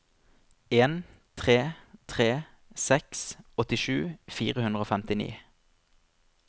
en tre tre seks åttisju fire hundre og femtini